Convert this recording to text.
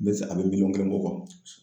N bɛ a bɛ miliyɔn kelen bɔ